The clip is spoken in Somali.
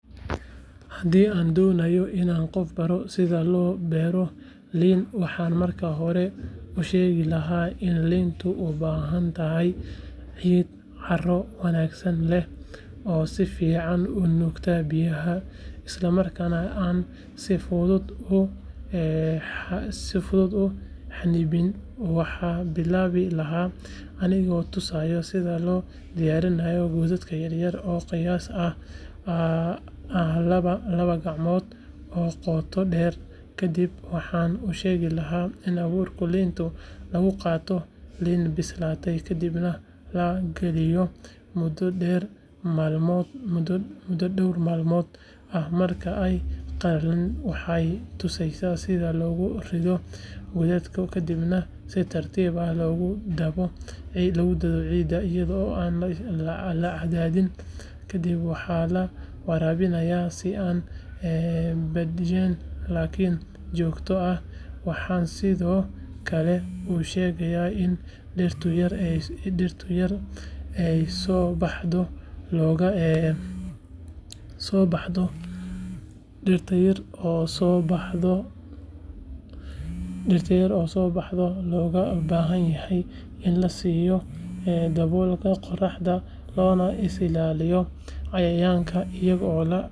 Haddii aan doonayo inaan qof baro sida loo beero liin waxaan marka hore u sheegi lahaa in liintu u baahan tahay ciid carro wanaagsan leh oo si fiican u nuugta biyaha islamarkaana aan si fudud u xannibmin waxaan bilaabi lahaa anigoo tusaya sida loo diyaariyo godad yar yar oo qiyaas ahaan ah laba gacmood oo qoto dheer kadib waxaan u sheegayaa in abuurka liinta laga qaato liin bislaatay kadibna la qalajiyo muddo dhowr maalmood ah marka ay qalalaan waxaan tusayaa sida loogu rido godadka kadibna si tartiib ah loogu dabo ciidda iyadoo aan la cadaadin kadib waxaa la waraabinayaa si aan badnayn laakiin joogto ah waxaan sidoo kale u sharxayaa in dhirta yar ee soo baxda looga baahan yahay in la siiyo daboolka qoraxda loona ilaaliyo cayayaanka iyadoo la adeegsanayo bacriminta dabiiciga ah sida digada xoolaha.